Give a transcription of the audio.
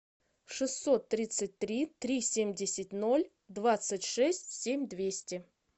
шестьсот тридцать три три семьдесят ноль двадцать шесть семь двести